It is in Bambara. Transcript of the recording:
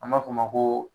An b'a fɔ o ma ko